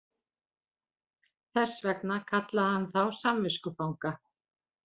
Þess vegna kallaði hann þá samviskufanga